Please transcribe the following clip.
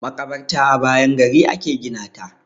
Maƙabarta a bayan gari a ke gina ta.